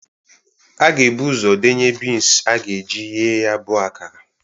A ga-ebu ụzọ denye bins a ga-eji ghee ya bụ akara.